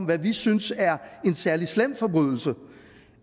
hvad vi synes er en særlig slem forbrydelse